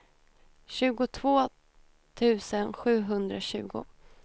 tjugotvå tusen sjuhundratjugo